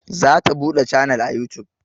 Za ta buɗe canal a yutub